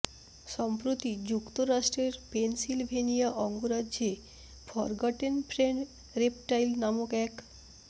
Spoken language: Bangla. সম্প্রতি যুক্তরাষ্ট্রের পেনসিলভেনিয়া অঙ্গরাজ্যে ফরগটেন ফ্রেন্ড রেপটাইল নামক এক